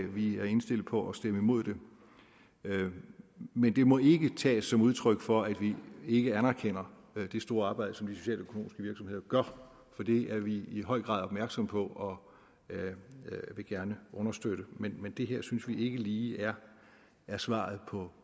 vi er indstillet på at stemme imod det men det må ikke tages som udtryk for at vi ikke anerkender det store arbejde som de socialøkonomiske virksomheder gør for det er vi i høj grad opmærksomme på og vil gerne understøtte men men det her synes vi ikke lige er svaret